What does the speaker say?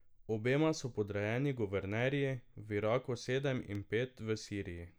Obema so podrejeni guvernerji, v Iraku sedem in pet v Siriji.